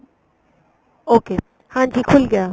okay ਹਾਂਜੀ ਖੁੱਲ ਗਿਆ